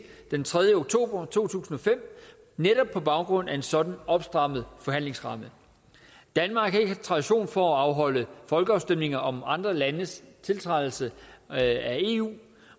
den tredje oktober to tusind og fem netop på baggrund af en sådan opstrammet forhandlingsramme danmark har ikke tradition for at afholde folkeafstemninger om andre landes tiltrædelse af eu